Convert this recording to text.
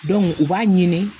u b'a ɲini